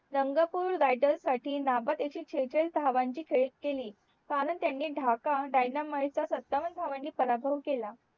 Rangpur rider साठी नाबाद एकशे शेचाळीस धवन ची खेळी केली कारण त्याने ढाका DYANAMITES चा सत्तावन्न धावांनी पराभव केला